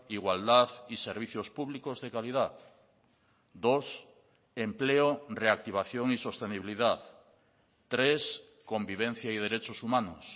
igualdad y servicios públicos de calidad dos empleo reactivación y sostenibilidad tres convivencia y derechos humanos